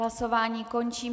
Hlasování končím.